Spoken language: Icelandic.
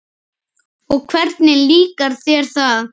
Og hvernig líkar þér þar?